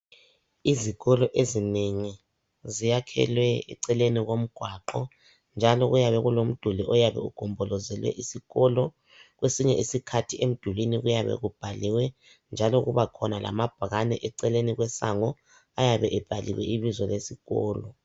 izikolo ezinengi ziyakhelwe eceleni kogwaqo njalo kuyabe kulomduli oyabe ugombolozele isikolo kwesinye isikhathi emdulini kuyabe kubhaliwe njalo kubakhona lamabhakane eceleni kwesango ayabe ebhaliwe ibizo lesikolo